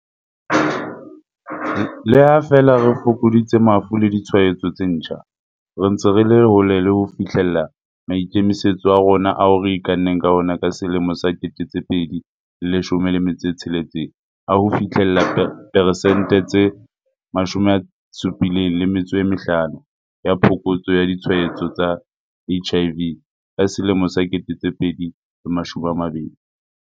Le ha feela re fokoditse mafu le ditshwaetso tse ntjha, re ntse re le hole le ho fihlella maikemisetso a rona ao re ikanneng ka ona ka 2016 a ho fihlella peresente tse 75 ya phokotso ya ditshwaetso tsa HIV ka 2020.